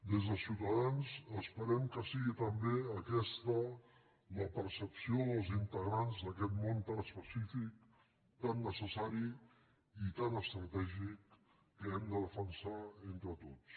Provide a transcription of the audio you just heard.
des de ciutadans esperem que sigui també aquesta la percepció dels integrants d’aquest món tan especí·fic tan necessari i tan estratègic que hem de defensar entre tots